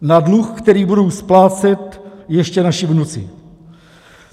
Na dluh, který budou splácet ještě naši vnuci.